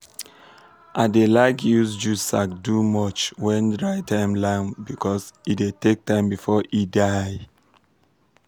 i like dey use jute sack do mulch when dry time land because e dey take time before e die.